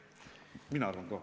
Mina arvan ka.